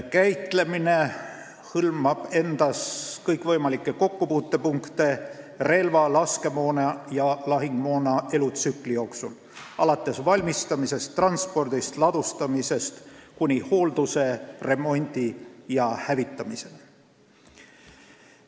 Käitlemine hõlmab endas kõikvõimalikke kokkupuutepunkte relvade, laskemoona ja lahingumoona elutsükli jooksul, alates valmistamisest, transpordist ja ladustamisest kuni hoolduse, remondi ja hävitamiseni.